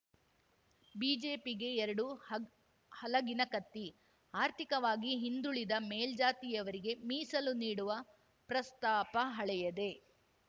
ಬಿಜೆಪಿಗೆ ಎರಡು ಹಗ್ ಹಲಗಿನ ಕತ್ತಿ ಆರ್ಥಿಕವಾಗಿ ಹಿಂದುಳಿದ ಮೇಲ್ಜಾತಿಯವರಿಗೆ ಮೀಸಲು ನೀಡುವ ಪ್ರಸ್ತಾಪ ಹಳೆಯದೇ